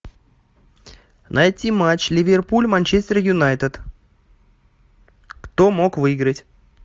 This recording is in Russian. найти матч ливерпуль манчестер юнайтед кто мог выиграть